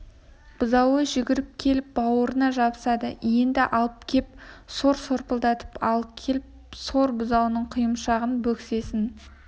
бұзауы жүгіріп келіп бауырына жабысады енді ал кеп сор сорпылдатып ал кеп сор бұзауының құйымшағын бөксесін